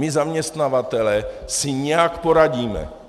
My zaměstnavatelé si nějak poradíme.